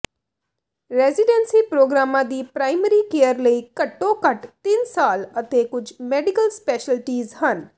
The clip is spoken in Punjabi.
ਰੈਜ਼ੀਡੈਂਸੀ ਪ੍ਰੋਗਰਾਮਾਂ ਦੀ ਪ੍ਰਾਇਮਰੀ ਕੇਅਰ ਲਈ ਘੱਟੋ ਘੱਟ ਤਿੰਨ ਸਾਲ ਅਤੇ ਕੁਝ ਮੈਡੀਕਲ ਸਪੈਸ਼ਲਟੀਜ਼ ਹਨ